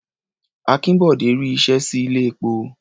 Akínbọ̀dé ri iṣẹ́ sí ilé-epo.